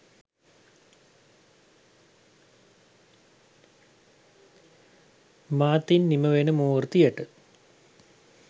මාතින් නිමවෙන මූර්තියට